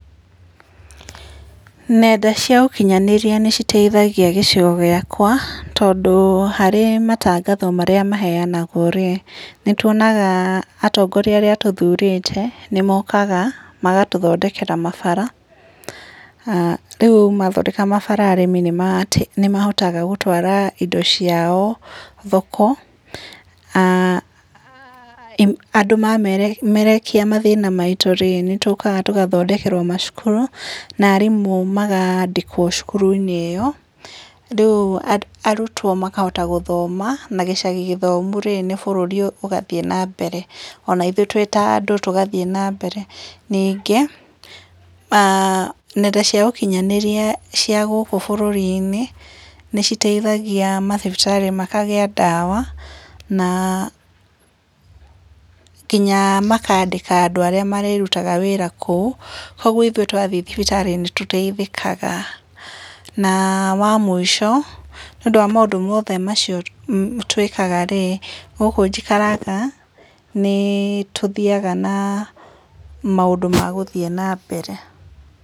Nenda cia ũkinyanĩria nĩciteithagia gĩcigo gĩakwa, tondũ harĩ matangatho marĩa maheanagwo rĩ, nĩtuonaga atongoria arĩa tũthurĩte, nĩmokaga, magatũthondekera mabara, rĩũ mathondeka mabara arĩmi nĩmarateithĩ nĩhotaga gũtwara indo ciao thoko, andũ ma memerekia mathĩna maitũ rĩ nĩtũkaga tũgathondekerwo macukuru, na arimũ magandĩkwo cukuruinĩ ĩyo, rĩu arutwo makahota gũthoma na gĩcagi gĩthomu rĩ, nĩ bũrũri ũgathiĩ nambere, ona ithuĩ twĩ ta andũ tũgathiĩ nambere. Ningĩ, nenda cia ũkinyanĩria cia gũkũ bũrũrinĩ, nĩciteithagia mathibitarĩ makagĩa ndawa, na kinya makandĩka andũ arĩa marĩrutaga wĩra kũu, koguo ithuĩ twathiĩ thibitarĩ nĩtũteithĩkaga, na wa mũico, nĩũndũ wa maũndũ mothe macio twĩkaga rĩ, gũkũ njikaraga, nĩ tũthiaga na maũndũ ma gũthiĩ nambere.